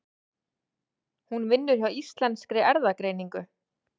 Hún vinnur hjá Íslenskri erfðagreiningu.